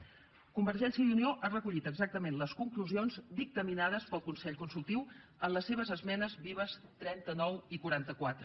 convergència i unió ha recollit exactament les conclusions dictaminades pel consell consultiu en les seves esmenes vives trenta nou i quaranta quatre